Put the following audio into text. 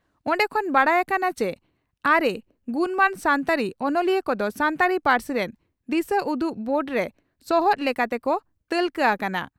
ᱚᱱᱰᱮ ᱠᱷᱚᱱ ᱵᱟᱰᱟᱭ ᱟᱠᱟᱱᱟ ᱪᱤ ᱟᱨᱮ ᱜᱩᱱᱢᱟᱱ ᱥᱟᱱᱛᱟᱲᱤ ᱚᱱᱚᱞᱤᱭᱟᱹ ᱠᱚᱫᱚ ᱥᱟᱱᱛᱟᱲᱤ ᱯᱟᱹᱨᱥᱤ ᱨᱮᱱ ᱫᱤᱥᱟᱹᱩᱫᱩᱜ ᱵᱳᱨᱰᱨᱮ ᱥᱚᱦᱛ ᱞᱮᱠᱟ ᱛᱮᱠᱚ ᱛᱟᱹᱞᱠᱟᱹ ᱦᱟᱠᱟᱱᱟ ᱾